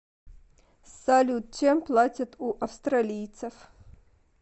салют чем платят у австралийцев